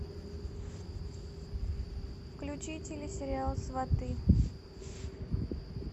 включи телесериал сваты